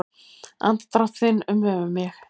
Andardrátt þinn umvefja mig.